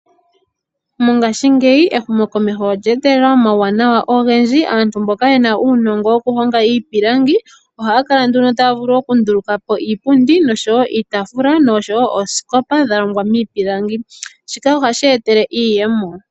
Mongashingeyi ehumokomeho olya etelela omawuwanawa ogendji. Aantu mboka ye na uunongo wokuhonga iipilangi, ohaya kala taya vulu okunduluka po iipundi nosho wo iitaafula nosho wo oosikopa dha longwa miipilangi. Shika ohashi ya etele iiyemo.